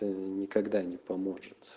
ээ никогда не помочь